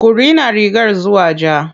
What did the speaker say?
Ku rina rigar zuwa ja.